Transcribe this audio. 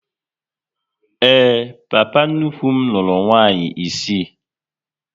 Ee, papa nnukwu m lụrụ nwaanyị isii